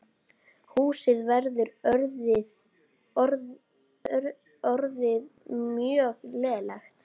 Húsið var orðið mjög lélegt.